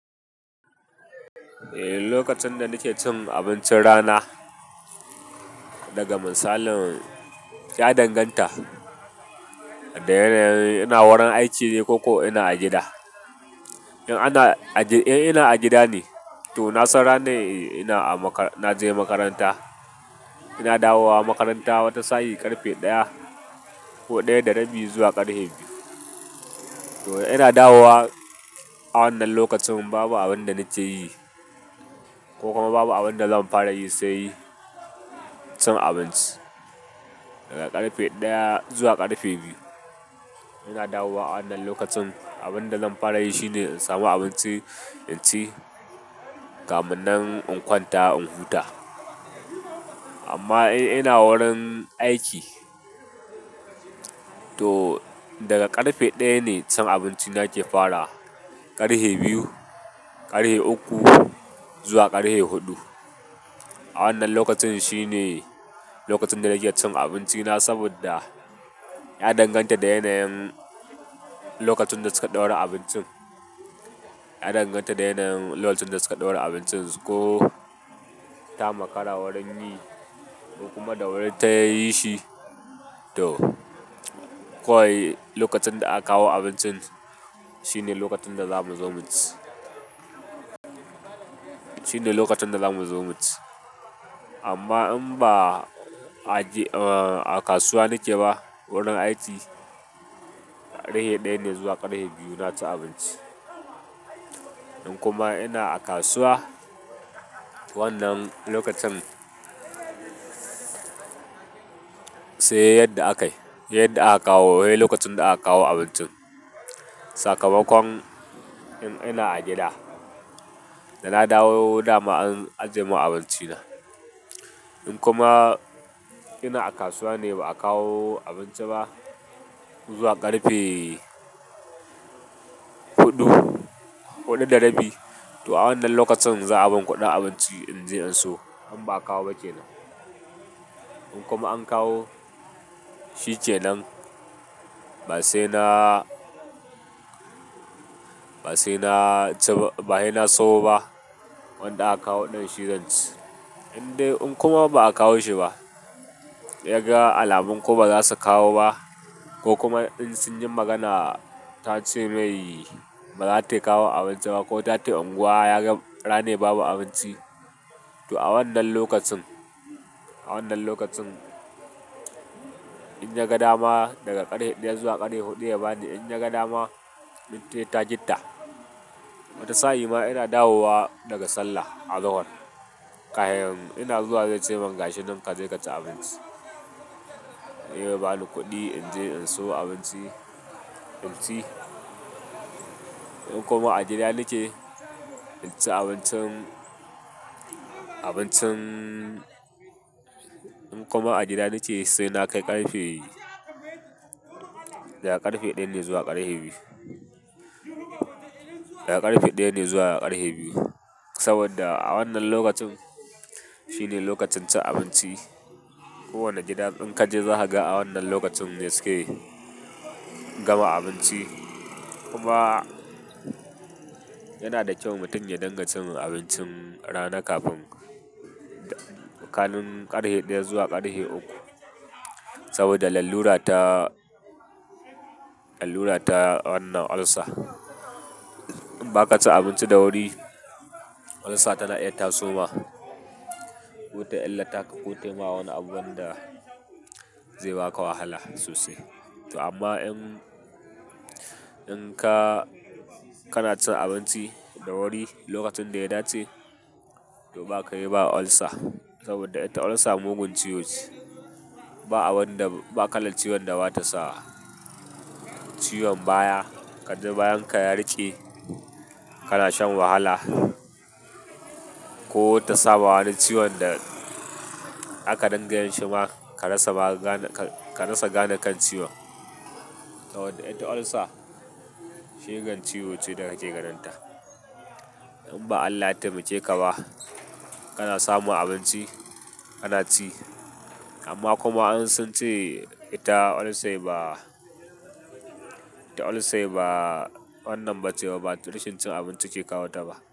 Eh, lokacin da nake cin abincin rana daga misalin ya danganta da yanayin ina wurin aiki ne ko ko ina a gida. In ana, in ina a gida ne, to nasan ranai ina na je makaranta. Ina dawowa makaranta wata sa'i ƙarfe ɗaya ko ɗaya da rabi zuwa ƙarfe biyu. To ina dawowa a wannan lokacin babu abin da nake yi ko kuma babu abin da zan fara yi sai cin abinci daga ƙarfe ɗaya zuwa ƙarfe biyu. Ina dawowa a wannan lokacin abin da zan fara yi shine in samu abinci in ci, kamun nan in kwanta in huta. Amma in ina wurin aiki, to daga ƙarfe ɗaya ne cin abinci na ke fara, ƙarfe biyu, ƙarfe uku zuwa ƙarfe huɗu. Wannan lokacin shine lokacin da nake cin abinci na saboda ya danganta da yanayin lokacin da su ka ɗaura abincin. Ya danganta da yanayin lokacin da su ka ɗaura abincin su ko ta makara wurin yi ko kuma da wuri ta yi shi to kawai lokacin da aka kawo abincin shine lokacin da zamu zo mu ci. Shine lokacin da zamu zo mu ci. Amma in ba a kasuwa nake ba wurin aiki ƙarfe ɗaya ne zuwa ƙarfe biyu na ci abinci. In kuma ina a kasuwa wannan lokacin sai yadda akayi, yadda aka kawo hai lokacin da aka kawo abincin. Sakamakon in ina a gida da na dawo dama an ajiye mun abinci na. In kuma ina a kasuwa ne ba a kawo abinci ba zuwa ƙarfe huɗu, huɗu da rabi to a wannan lokacin za a ban kuɗin abinci in je in siyo in ba a kawo ba kenan. In kuma an kawo, shi ke nan ba sai na, ba sai na ci ba, ba sai na suwo ba wanda aka kawo ɗin shi zan ci. In dai in kuma ba a kawo shi ba, ya ga alamun ko ba za su kawo ba ko kuma in sun yi magana ta ce mai ba za ta kawo abinci ba ko ta ce unguwa ya ga ranai babu abinci, to a wannan lokacin, a wannan lokacin in ya ga dama daga ƙarfe ɗaya zuwa ƙarfe huɗu ya bani in ya ga dama, huɗu haita gitta. Wani sa'i ma ina dawowa daga sallah a Zahor, ƙahin ina zuwa zai ce mun gashi nan kaje ka ci abinci. Mun yi ba ni kuɗi in je in siyo abinci in ci. In kuma a gida nake, in ci abincin, abincin in kuma a gida nake sai na kai ƙarfe, daga ƙarfe ɗaya ne zuwa ƙarfe biyu. Daga ƙarfe ɗaya ne zuwa ƙarfe biyu saboda a wannan lokacin shine lokacin cin abinci. Kowane gida in ka je za ka ga a wannan lokacin ne suke gama abinci. Kuma yana da kyau mutum ya dingan cin abincin rana kafin tsakanin ƙarfe ɗaya zuwa ƙarfe uku saboda lallura ta, lallura ta wannan ulcer. In ba ka ci abinci da wuri ulcer ta na iya tasoma kota illa ta ka kotai ma wani abu wanda zai baka wahala sosai. To amma in, in ka, kana cin abinci da wuri lokacin da ya dace to ba kai ba ulcer saboda ita ulcer mugun ciwo ce. Ba abun da, ba kalan ciwon da ba ta sa ciwon baya. Kaji bayan ka yariƙe kana shan wahala ko ta sa wani ciwon da aka danganta shi ma ka rasa magane, ka rasa gane kan ciwon. Saboda ita ulcer shigen ciwo ce da kake ganin ta. In ba Allah ya taimake ka ba kana samun abinci kana ci. Amma kuma in sun ce ita ulcer ba, ita ulcer ba wannan ba ce ba, to rashin cin abinci ke kawo ta ba.